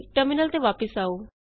terminal ਤੇ ਵਾਪਸ ਆਉ